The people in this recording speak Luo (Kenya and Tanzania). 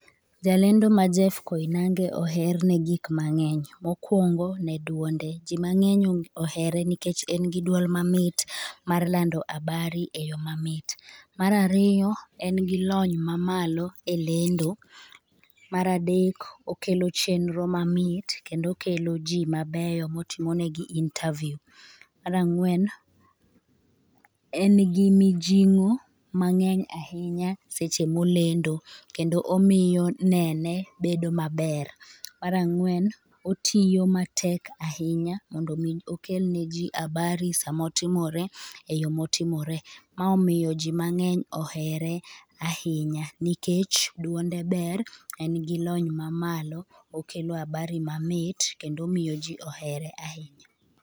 Ja lendo ma Jeff Koinange oher ne gik mang'eny, mokwongo ne dwonde. Ji mang'eny ohere nikech en gi duol mamit mar lando habari e yo mamit. Marariyo en gi lony mamalo e lendo. Maradek okelo chenro mamit kend okelo ji mabeyo motimo negi interview. Marang'wen, en gi mijing'o mang'eny ahinya seche molendo, kendo omiyo nene bedo maber. Marang'wen, otiyo matek ahinya mondo mi okel ne ji habari samotimore, e yo motimore. Ma omiyo ji mang'eny ohere ahinya nikech duonde ber, en gi lony ma malo, okelo habari mamit, kendo omiyo ji ohere ahinya.